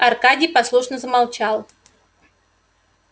аркадий послушно замолчал